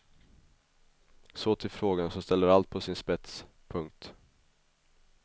Så till frågan som ställer allt på sin spets. punkt